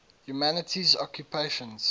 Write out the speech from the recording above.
humanities occupations